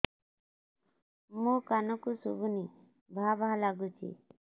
ମୋ କାନକୁ ଶୁଭୁନି ଭା ଭା ଲାଗୁଚି